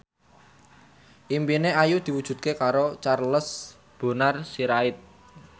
impine Ayu diwujudke karo Charles Bonar Sirait